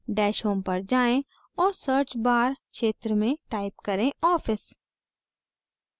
dash home पर जाएँ और search bar क्षेत्र में type करें office